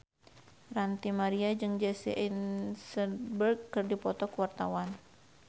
Ranty Maria jeung Jesse Eisenberg keur dipoto ku wartawan